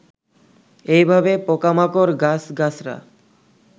এই ভাবে পোকামাকড়, গাছগাছড়া